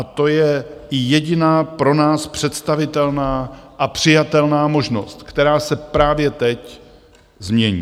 A to je jediná pro nás představitelná a přijatelná možnost, která se právě teď změní.